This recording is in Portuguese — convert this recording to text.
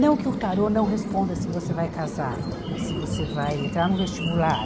Não que o tarô não responda se você vai casar, se você vai entrar no vestibular.